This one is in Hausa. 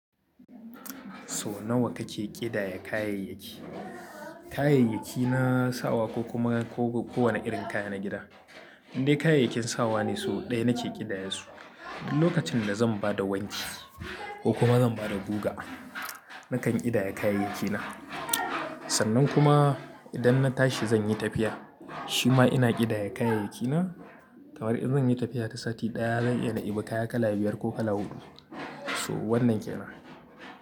So nawa kake ƙidaya kayayyaki? Kayayyaki na sawa ko kuma ko wanne irin kaya na gida. Indai kayayyakin sawa ne sau ɗaya nake ƙidayasu. Duk lokacin da zan ba da wanki ko kuma zan ba da guga nakan ƙidaya kayayyakina. Sannan kuma idan na tashi zan yi tafiya shima ina ƙidaya kayayyakina. Kamar in zan yi tafiya ta sati ɗaya zan iya na ibu kaya kala biyar ko kala huɗu. To wannan ke nan.